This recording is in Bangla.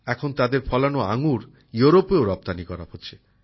এখন তাদের ফলানো আঙ্গুর ইউরোপেও রপ্তানি করা হচ্ছে